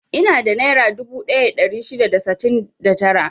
Ina da nera dubu ɗaya da ɗari shida da sittin da tara.